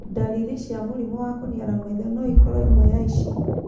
Ndariri cia mũrimũ wa kũniara maitho no ikorũo ĩmwe ya ici.